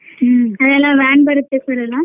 ಹ್ಮ್ ಅಲ್ಲೆಲ್ಲ van ಬರುತ್ತೆ sir ಎಲ್ಲಾ.